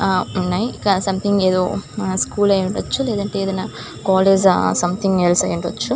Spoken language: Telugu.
ఏదో ఉన్నాయి.సంథింగ్ ఏదో స్కూల్ అయ్యుండొచ్చు. లేదంటే ఏదైనా సమెథింగ్ కాలేజ్ అయినా--